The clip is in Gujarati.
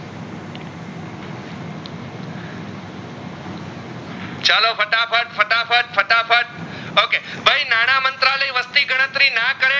okay નાના મંત્રાલય વસ્તી ગણતરી ના કરે